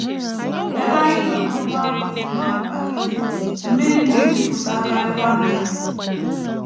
Ebe anyị nọ n’ụgbọ ahụ dị nnọọ mkpagide, mmiri na - ejupụtakarịkwa na ya.